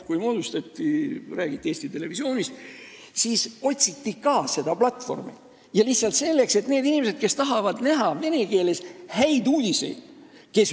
Kui Eesti Televisioonist räägiti, siis otsiti ka seda platvormi nendele inimestele, kes tahavad näha vene keeles häid uudiseid.